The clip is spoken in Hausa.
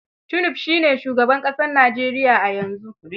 Tinub shi ne shugaban ƙasar Nijeriya a yanzu.